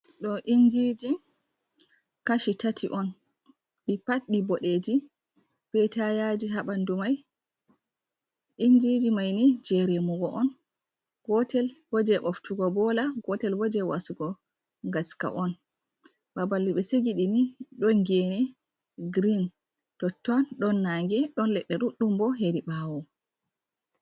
Ɗo injiji kashi tati on, ɗi patdi boɓeji be tayaji ha bandu mai. Injiji maini je remugo on, gotel bo je ɓoftugo bola, gotel bo je wasugo ngaska on. Babal be segidini ɗon gene green totton, ɗon naa'nge ɗon leɗɗe ɗuɗɗum bo hedi ɓawo.